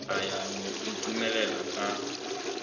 a ya go inotlelela ka